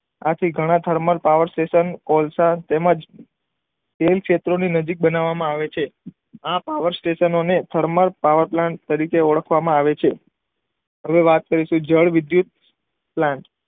આથી ઘણા thermal power station કોલસા તેમ જ તેલ ક્ષેત્રોની નજીક બનાવવામાં આવે છે. આ પાવર સ્ટેશનોની થર્મલ પાવર પ્લાન્ટ તરીકે ઓળખવામાં આવે છે. હવે વાત કરીશું જળ વિદ્યુત પ્લાન્ટ.